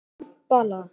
Kampala